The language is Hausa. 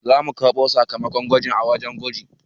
Za mu karɓo sakamakon gwajin a wajen gwaji